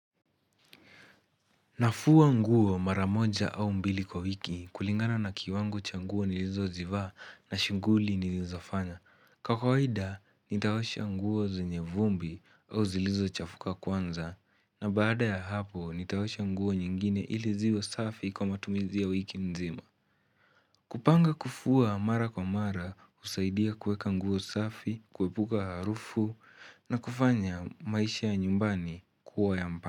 Na fua nguo mara moja au mbili kwa wiki kulingana na kiwango cha nguo nilizozivaa na shughuli nilizo fanya. Kwa kawaida, nitaosha nguo zenye vumbi au zilizo chafuka kwanza na baada ya hapo nitaosha nguo nyingine ili ziwe safi kwa matumizi ya wiki nzima. Kupanga kufua mara kwa mara, husaidia kuweka nguo safi, kuepuka harufu na kufanya maisha ya nyumbani kuwa ya mpana.